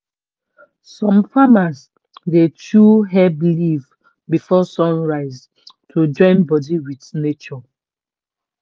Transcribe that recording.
some farmers dey chew herb leaf before sun rise to join body with nature